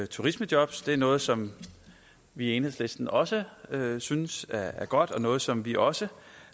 turismejobs det er noget som vi i enhedslisten også synes er godt og noget som vi også